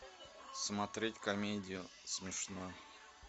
смотреть комедию смешную